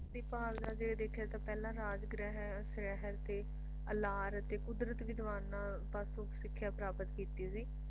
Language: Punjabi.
ਉਸ ਦੀ ਭਾਲ ਦੇ ਜੇ ਦੇਖਿਆ ਤਾਂ ਪਹਿਲਾ ਰਾਜ ਗ੍ਰਹਿ ਉਸ ਲਹਿਰ ਤੇ ਅਲਾਰਾ ਅਤੇ ਕੁਦਰਤ ਵਿਦਵਾਨਾਂ ਪਾਸੋ ਸਿੱਖੀਆ ਪ੍ਰਾਪਤ ਕੀਤੀ ਸੀ